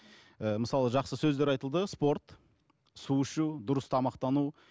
ыыы мысалы жақсы сөздер айтылды спорт су ішу дұрыс тамақтану